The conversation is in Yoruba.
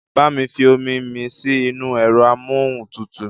Bá mi fi omi mi sí inú ẹ̀rọ amóhuntutù